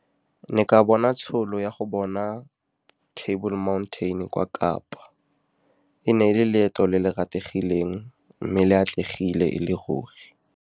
Ke ne ka bona tšhono ya go bona Table Mountain kwa Kapa. E ne e le leeto le le rategileng, mme le atlegile e le ruri.